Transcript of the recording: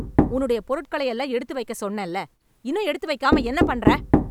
உன்னுடைய பொருட்களையெல்லாம் எடுத்து வைக்கச் சொன்னேன்ல இன்னும் எடுத்து வைக்காமா என்ன பண்ற